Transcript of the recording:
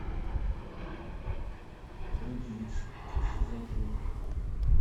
люди икс сезон пять